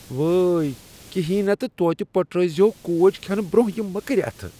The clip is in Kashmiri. وٲے! کہینۍ نے تہٕ توتہ پٔٹھرٲوۍ زِہو کوج کھینہٕ برۄنہہ یم مٔکٕرۍ اتھٕ۔